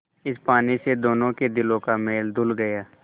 इस पानी से दोनों के दिलों का मैल धुल गया